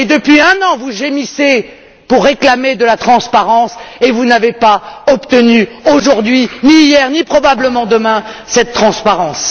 Et, depuis un an, vous gémissez pour réclamer de la transparence et vous n'avez pas obtenu aujourd'hui, ni hier, ni probablement demain, cette transparence.